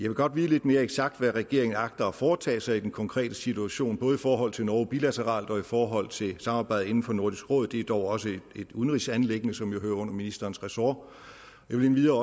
vil godt vide lidt mere eksakt hvad regeringen agter at foretage sig i den konkrete situation både i forhold til norge bilateralt og i forhold til samarbejdet inden for nordisk råd det er dog også et udenrigsanliggende som jo hører under ministerens ressort jeg vil endvidere